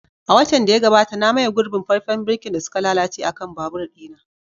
A watan da ya gabata, na maye gurbin faifen birkin da suka lalace akan babur ɗina.